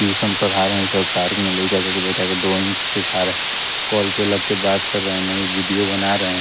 Tuition पढ़ा रहे हैं ड्राइंग सिखा रहे कॉल पे लग के बात करे हैं नई वीडियो बना रहे हैं।